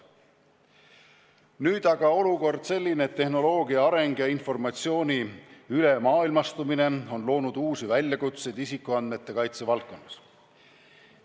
Nüüd aga on olukord selline, et tehnoloogia areng ja informatsiooni üleilmastumine on loonud uusi väljakutseid isikuandmete kaitse valdkonnas.